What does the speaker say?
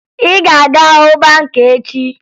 Ị ga-aga hụ banka echi!